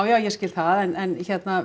ég skil það en